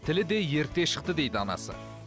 тілі де ерте шықты дейді анасы